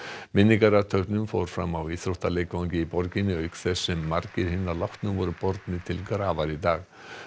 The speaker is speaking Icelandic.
minningarathöfn fór fram á íþróttaleikvangi í borginni auk þess sem margir hinna látnu voru bornir til grafar í dag